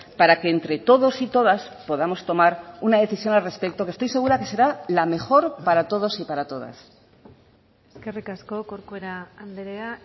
para que entre todos y todas podamos tomar una decisión al respecto que estoy segura que será la mejor para todos y para todas eskerrik asko corcuera andrea